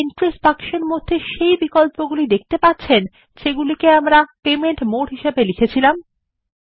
আপনি কি দেখতে পাচ্ছেন যা অপশন আমরা এন্ট্রিস বক্সের মধ্যে পেমেন্ট মোড হিসেবে প্রবেশ করিয়ে ছি160